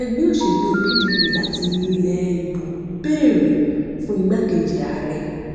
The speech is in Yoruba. ẹgbẹ òṣèlú pdp láti ilẹ ibo béèrè fún igbákejì ààrẹ